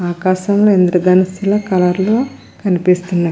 ఆకాశం లో ఇంద్రధనుస్సు లొ కలర్ లో కనిపిస్తున్నవి .